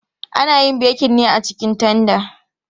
Ana yin bekin ne a cikin tanda.